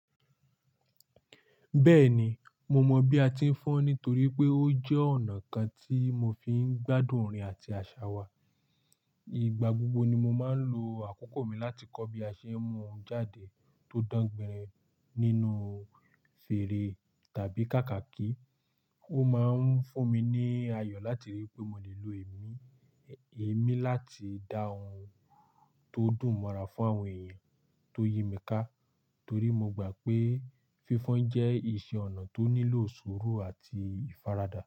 Bẹ́ẹ̀ni, mo mọ bí a ti ń fọ́n nítorí pé ó jẹ́ ọ̀nà kan tí mo fi ń gbádùn orin àti àṣà wa. Ìgbà gbogbo ni mo máa ń lo àkókò mi láti kọ́ bí a ṣe ń mú ohun jáde tó dán gbinrin nínú fèrè tàbí kàkàkí. Ó máa ń fún mi ní ayọ̀ láti rí pé mo lè lo èmí, eemí láti dá ohun tó dùn mọ́ra fún àwọn èèyàn tó yí mi ká. Torí mo gbà pé fífọ́n jẹ́ iṣẹ́ ọnà tó nílò sùúrù àti ìfaradà.